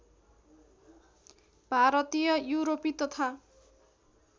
भारतीय युरोपी तथा